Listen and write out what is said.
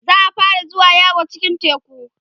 za'a fara zuwa yawo cikin teku